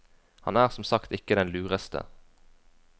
Han er som sagt ikke den lureste.